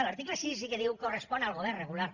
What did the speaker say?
l’article sis sí que diu correspon al govern regular